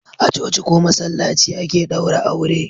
A coci ko masallaci ake daura aure